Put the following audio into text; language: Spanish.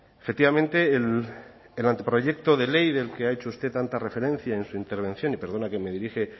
efectivamente en el anteproyecto de ley del que ha hecho usted tanta referencia en su intervención y perdone que me dirija